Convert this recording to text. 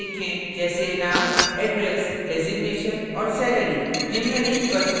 जैसे name name address पता designation पद और salary वेतन